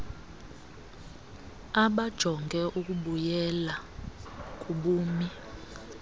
abajonge ukubuyela kubumi